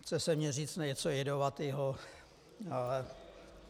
Chce se mně říct něco jedovatého, ale...